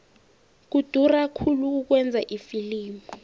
kudura khulu ukwenza ifilimu